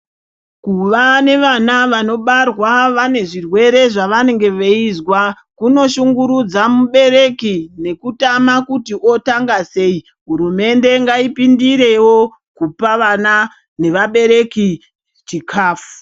Kuva nevana vanobarwa vane zvirwere zvavanenge veizwa kunoshungurudza mubereki nekutama kuti otanga sei. Hurumende ngaipindirewo kupa vana nevabereki chikafu.